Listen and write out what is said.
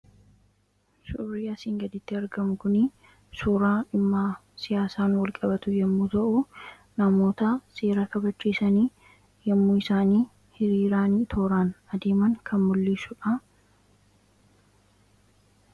Suurri asii gaditti argamu kuni suura dhimma siyaasaan walqabatu yommuu ta'u namoota seera kabachiisan yommuu isaan hiriiraan, tooraan deeman kan mul'isudha